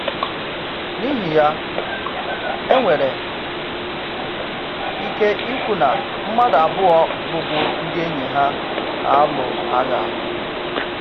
N’ihi ya, e nwere ike ikwu na mmadụ abụọ bụ̀bụ̀ ndị enyi ha na-alụ agha.